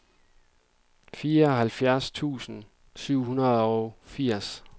fireoghalvfjerds tusind syv hundrede og firs